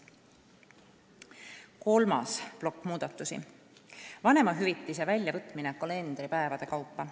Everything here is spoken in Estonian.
Kolmas plokk muudatusi: vanemahüvitise väljavõtmine kalendripäevade kaupa.